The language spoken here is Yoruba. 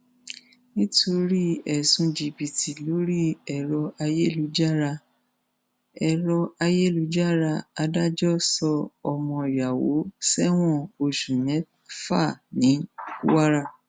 nítorí ẹsùn jìbìtì lórí ẹrọ ayélujára ẹrọ ayélujára adájọ sọ ọmọ yàwó sẹwọn oṣù mẹfà ní kwara